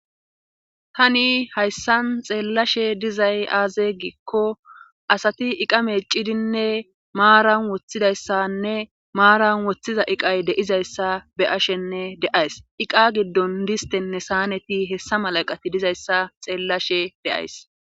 tani hayssan xeellashe dizay aaze giikko asati iqa meecidinne maaran woththidayssanne maaran woththiza iqay deizayssa be ashenne de'ays iqa giddon distenne saaneti hessa mala eqati dizayssa xeellashe de'ays